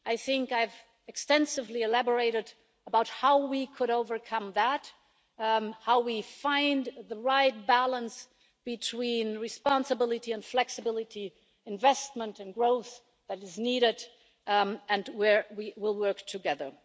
I think I've elaborated extensively about how we could overcome that, how we find the right balance between responsibility and flexibility and the investment and growth that is needed, and where we will work together.